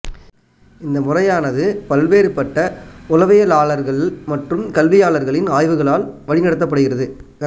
இந்த முறையானது பல்வேறுபட்ட உளவியலாளர்கள் மற்றும் கல்வியாளர்களின் ஆய்வுகளால் வழி நடத்தப்படுகிறது